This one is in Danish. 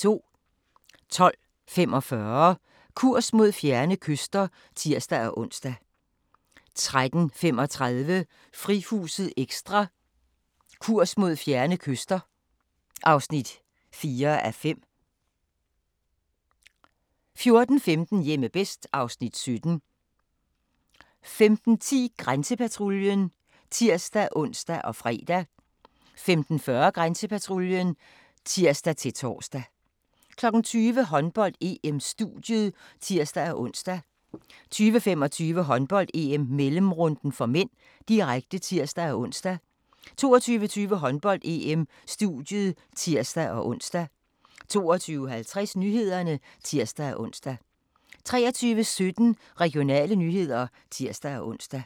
12:45: Kurs mod fjerne kyster (tir-ons) 13:35: Frihuset Ekstra: Kurs mod fjerne kyster (4:5) 14:15: Hjemme bedst (Afs. 17) 15:10: Grænsepatruljen (tir-ons og fre) 15:40: Grænsepatruljen (tir-tor) 20:00: Håndbold: EM - studiet (tir-ons) 20:25: Håndbold: EM - mellemrunden (m), direkte (tir-ons) 22:20: Håndbold: EM - studiet (tir-ons) 22:50: Nyhederne (tir-ons) 23:17: Regionale nyheder (tir-ons)